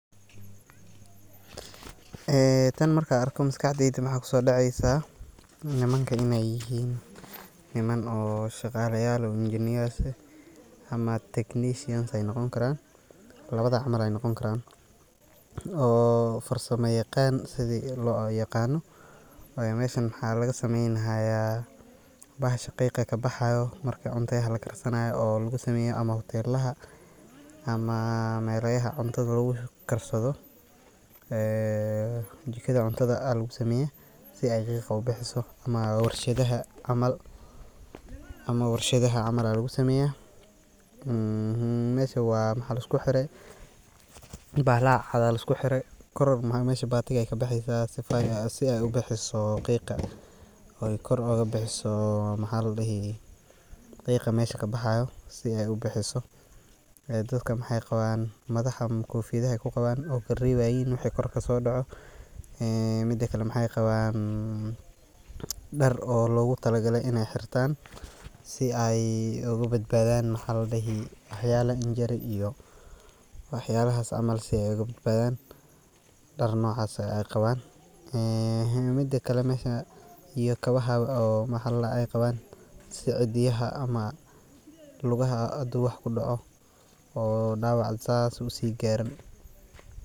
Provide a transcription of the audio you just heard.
Ee tan markan arko maskax deyda mxa kusodeceysa nimankan inay yihin, niman oo shaqaalayal oo eginer ama technician ay noqon karan labada camal ay noqonkaran oo farsama yaqn siloyaqano, wayo meshan wxa lagasamenihaya bahasha qiqa kabaxahayo marka cuntahaya lakarsanahayo o lagusameya hutelaha ama meloyaha cuntada lagukarsado, jikada cuntada lagusameyo si ay qiqa ubixiso ama warshadaha camal alagusameya ,mesha waa mxa liskuxire bahalaha cad alaisku xire kor mesha batig ay kabexeysa si ay u bixiso qiqa oykor agabixiso mxa ladihi qiqa mesha kabaxayo si ay u bixiso ee dadka mxay qaban mxada kofiyadaha ayqaban okarebayin wixi korkasodoco midikale mxay qaban dar o logutalagale inay xirtan si ay ugubadbadan mxa ladihi xaladcs cs)injury wax yalahas camal inay kabadbadan dar nocay ay qaban ehe midikale meshan iyo kabaha oo ayqaban si cidiyaha lugaha hadu wax kudoco oo dawac sas u sigarin.